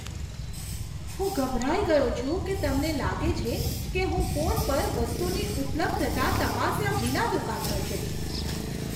હું ગભરાઈ ગયો છું કે તમને લાગે છે કે હું ફોન પર વસ્તુની ઉપલબ્ધતા તપાસ્યા વિના દુકાન પર જઈશ.